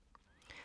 TV 2